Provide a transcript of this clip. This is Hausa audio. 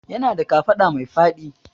Yana da kafaɗa mai faɗi